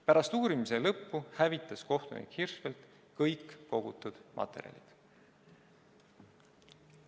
Pärast uurimise lõppu hävitas kohtunik Hirschfeldt kõik kogutud materjalid.